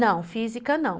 Não, física não.